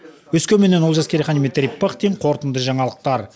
өскеменнен олжас керейхан дмитрий пыхтин қорытынды жаңалықтар